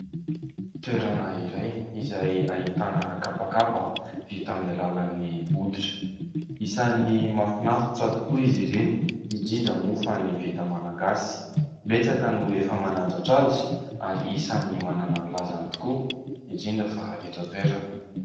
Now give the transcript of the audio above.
Toerana iray izay ahitana kapakapa vita amin'ny alalan'ny hoditra; isan'ny mahafinaritra tokoa izy ireny; indrindra moa fa ny vita malagasy; betsaka no efa manandratra azy ary isan'ny manana ny lazany tokoa indrindra fa eto an-toerana.